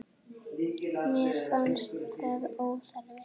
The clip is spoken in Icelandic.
Mér fannst það óþarfi.